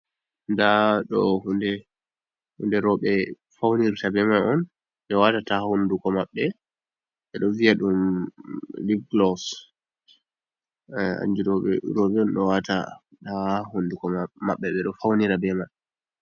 Nda ɗo hunde roɓe faunirta be ma on, ɓe watata ha hunduko maɓɓe ɓeɗo viya dum lip glos, kanjum ɗo roɓe o wata ha honduko maɓɓe ɓe ɗo faunira be man.